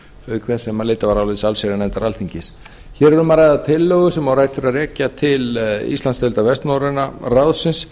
auk þess sem álit barst frá allsherjarnefnd alþingis hér er um að ræða tillögu sem á rætur að rekja til íslandsdeildar vestnorræna ráðsins